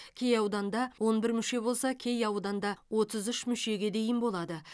кей ауданда он бір мүше болса кей ауданда отыз үш мүшеге дейін болады